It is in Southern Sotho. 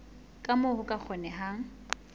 ka moo ho ka kgonehang